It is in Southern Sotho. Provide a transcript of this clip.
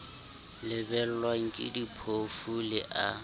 lebellwang ke diphofu le a